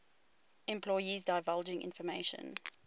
employees divulging information